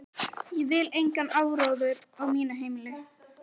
Ég vil engan áróður á mínu heimili.